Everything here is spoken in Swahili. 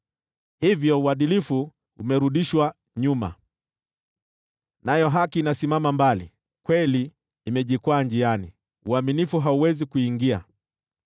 Hivyo uadilifu umerudishwa nyuma, nayo haki inasimama mbali, kweli imejikwaa njiani, uaminifu hauwezi kuingia.